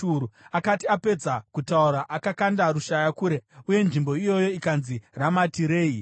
Akati apedza kutaura, akakanda rushaya kure; uye nzvimbo iyoyo ikanzi Ramati Rehi.